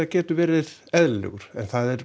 getur verið eðlilegur en það er